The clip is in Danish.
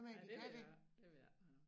Ej det ved jeg ikke det ved jeg ikke